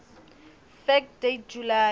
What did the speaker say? fact date july